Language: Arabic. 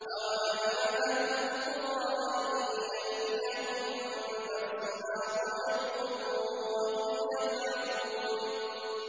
أَوَأَمِنَ أَهْلُ الْقُرَىٰ أَن يَأْتِيَهُم بَأْسُنَا ضُحًى وَهُمْ يَلْعَبُونَ